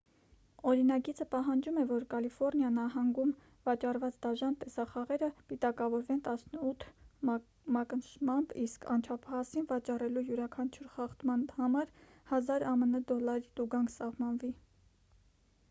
օրինագիծը պահանջում է որ կալիֆոռնիա նահանգում վաճառված դաժան տեսախաղերը պիտակավորվեն 18 մակնշմամբ իսկ անչափահասին վաճառելու յուրաքանչյուր խախտման համար 1,000 ամն դոլարի տուգանք սահմանվի